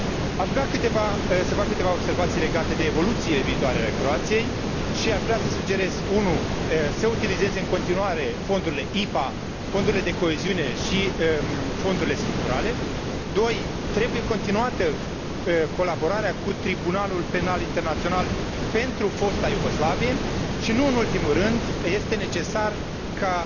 Aș vrea să fac câteva observații legate de evoluțiile viitoare ale Croației și aș vrea să sugerez 1 să utilieze în continuare fondurile IPA, fondurile de coeziune și fondurile structurale, 2 trebuie continuată colaborarea cu Tribunalul Penal Internațional pentru Fosta Iugoslavie și, nu în ultimul rând, este necesar ca